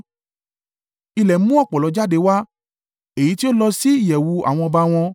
Ilẹ̀ mú ọ̀pọ̀lọ́ jáde wá, èyí tí ó lọ sí ìyẹ̀wù àwọn ọba wọn.